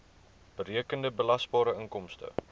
berekende belasbare inkomste